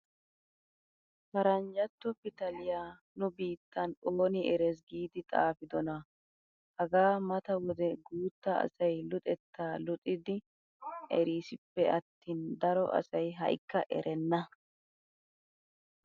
Paranjjantto pitanliyaa nu biittan ooni eres giidi xaafidonaa? hagaa mata wode guutta asay luxettaa luxxidi eriisippe attin daro asay ha'ikka erenna!